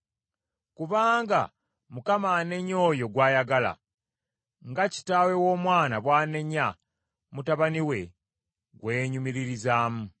kubanga Mukama anenya oyo gw’ayagala, nga kitaawe w’omwana bw’anenya mutabani we gwe yeenyumiririzaamu.